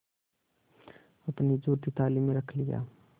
अपनी जूठी थाली में रख लिया